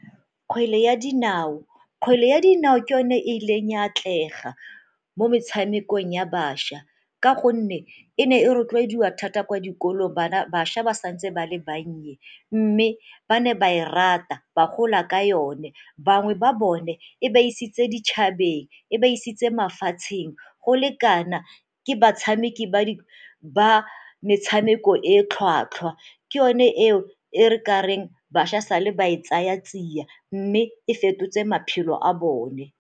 Kgwele ya dinao, kgwele ya dinao ke yone e e ileng ya atlega mo metshamekong ya bašwa ka gonne e ne e rotloediwa thata kwa dikolong, bašwa ba sa ntse ba le bannye mme ba ne ba e rata ba gola ka yone. Bangwe ba bone e ba isitse ditšhabeng, e ba isitse mafatsheng, go le kana ke batshameki ba metshameko e e tlhwatlhwa. Ke yone eo e re ka reng bašwa sa le ba e tsaya tsia mme e fetotse maphelo a bone.